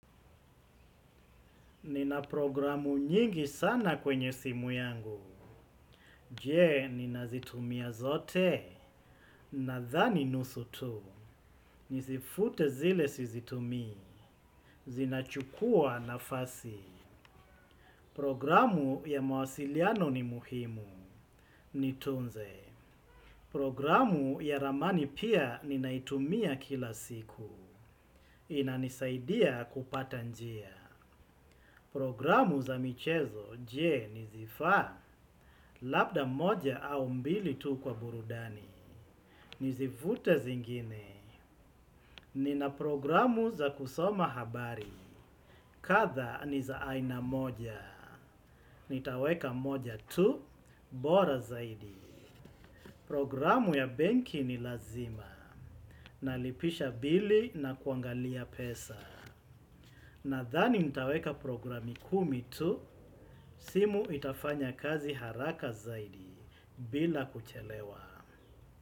Nina programu nyingi sana kwenye simu yangu, jee ninazitumia zote, nadhani nusutu, nizifute zile sizitumii, zinachukua nafasi. Programu ya mawasiliano ni muhimu, nitunze. Programu ya ramani pia ninaitumia kila siku, inanisaidia kupata njia. Programu za michezo je nizifaa. Labda moja au mbili tu kwa burudani. Nizivute zingine. Nina programu za kusoma habari. Katha niza aina moja. Nitaweka moja tu, bora zaidi. Programu ya benki ni lazima. Nalipisha bili na kuangalia pesa. Na thani nitaweka programi kumi tu, simu itafanya kazi haraka zaidi bila kuchelewa.